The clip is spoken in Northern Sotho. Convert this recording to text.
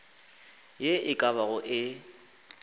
ye e ka bago e